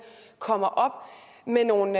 kommer op med nogle